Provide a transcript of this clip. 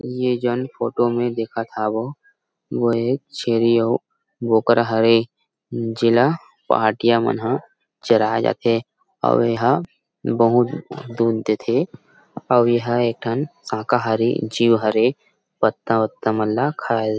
ये जाऊन फोटो में देखत हव वो एक छेरी अउ बोकरा हरे जेला पहाटिया मन हा चराये जा थे अऊ एहा बहुत दूध दे थे अऊ एहा एक ठन साकाहारी जीव हरेपत्ता वत्ता मन ल खाय--